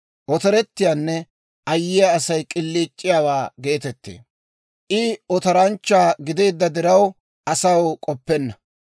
Otorettiyaanne ayyiyaa Asay k'iliic'iyaawaa geetettee; I otoranchcha gideedda diraw, asaw k'oppenna.